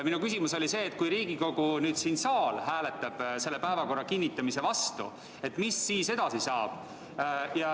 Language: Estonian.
Minu küsimus oli see, et kui Riigikogu saal hääletab päevakorra kinnitamise vastu, mis siis edasi saab.